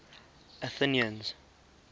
athenians